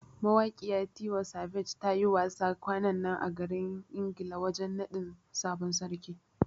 Mawaƙiya Tiwa savage ta yi wasa kwanan nan a garin Ingila wajen nadin sabon sarki.